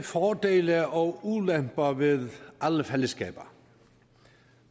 fordele og ulemper ved alle fællesskaber